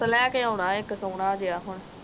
suit ਲੈ ਕੇ ਆਉਣਾ ਇਕ ਸੋਹਣਾ ਜੇਹਾ ਹੁਣ